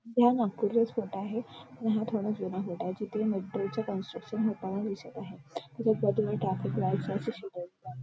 हा नागपूरचे स्पॉट आहे आणि हा थोडा जुना रोड आहे जिथे मेट्रो च कन्स्ट्रक्शन होताना दिसत आहे इथं --